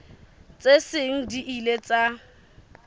tse seng di ile tsa